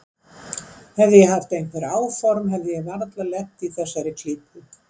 Hefði ég haft einhver áform hefði ég varla lent í þessari klípu.